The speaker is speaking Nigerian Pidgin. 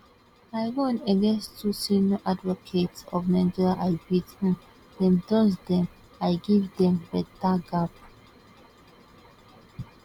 i run against two senior advocates of nigeria i beat um dem dust dem i give dem beta gap